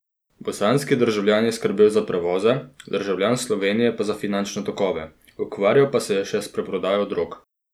Bosanski državljan je skrbel za prevoze, državljan Slovenije pa za finančne tokove, ukvarjal pa se je še s preprodajo drog.